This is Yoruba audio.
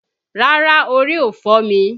Rárá, orí ò fọ́ mi